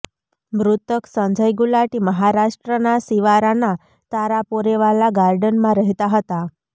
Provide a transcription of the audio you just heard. મૃતક સંજય ગુલાટી મહારાષ્ટ્રના શિવારાના તારાપોરેવાલા ગાર્ડનમા રહેતા હતા